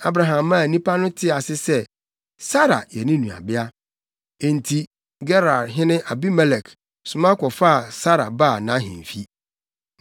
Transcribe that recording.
Abraham maa nnipa no tee ase sɛ, Sara yɛ ne nuabea. Enti, Gerarhene Abimelek soma kɔfaa Sara baa nʼahemfi.